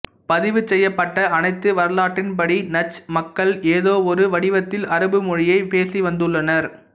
பதிவுசெய்யப்பட்ட அனைத்து வரலாற்றின்படி நஜ்த் மக்கள் ஏதோவொரு வடிவத்தில் அரபு மொழியைப் பேசிவந்துள்ளனர்